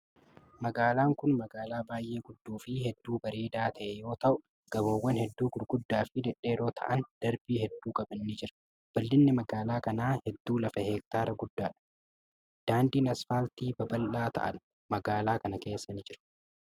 Magaalaan kun magaalaa baay'ee guddaa fi hedduu bareedaa ta'e yoo ta'u, gamoowwan hedduu guguddaa fi dhedheeroo ta'an darbii hedduu qaban ni jiru. Bal'inni magaalaa kanaa hedduu lafa hektaara guddaa dha. Daandiin asfaaltii babal'aa ta'an ,magaalaa kana keessa ni jiru.